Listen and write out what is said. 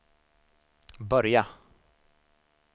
börja